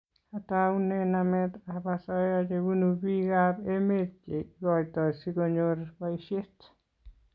ataune namet ab asoya chebunu piik ab emet che ikoitoi si konyor boishet